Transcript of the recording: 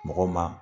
Mɔgɔ ma